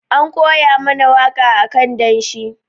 An koya mana waka akan danshi.